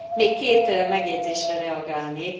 Még két megjegyzésre reagálnék.